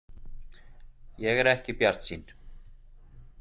Ég er ekki bjartsýn.